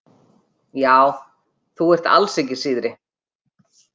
Já, þú ert alls ekki síðri.